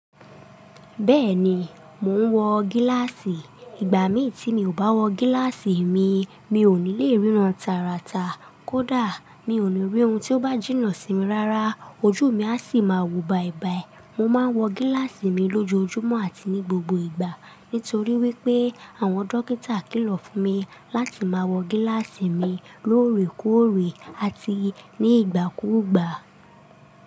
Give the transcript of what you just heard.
Bẹ́ẹ̀ni, mò ń wọ gíláàsì. Ìgbà mí tí mi ò bá wọ gíláàsì mi, mi ò ní le ríran tàràtà. Kódà mi ò ní rí ohun tó bá jìnnà sí mi rárá. Ojú mi a sì máa wo baìbàì. Mo máa ń wọ gíláàsì mi lójoojúmọ́ àti ní gbogbo ìgbà. Nítorí wípé àwọn dókítà kìlọ̀ fún mi láti máa wọ gíláàsì mi lóòrèkóòrè àti ní ìgbà kúùgbà.